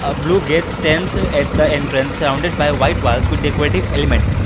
blue gates tense at the entrance sorrounded by white was decorative element.